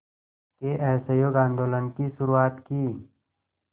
के असहयोग आंदोलन की शुरुआत की